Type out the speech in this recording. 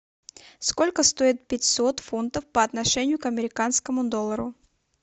сколько стоит пятьсот фунтов по отношению к американскому доллару